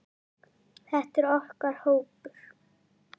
Þetta er okkar hópur.